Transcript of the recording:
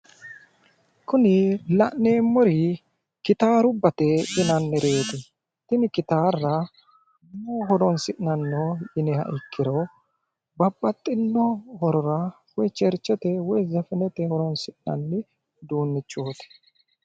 Kuri la'neemmori gitaarubbate yinannireeti, tini gitaarra maaho horonsi'nanni yiniha ikkiro babbaxxinno horora woyi cherchete woyi zefenete horonsi'nanni uduunnichooti.